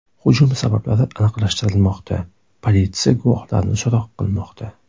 Hujum sabablari aniqlashtirilmoqda, politsiya guvohlarni so‘roq qilmoqda.